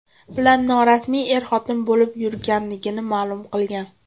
bilan norasmiy er-xotin bo‘lib yurganligini ma’lum qilgan.